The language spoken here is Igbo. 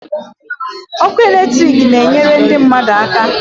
Ọkụ electric na enyere ndụ mmadụ aka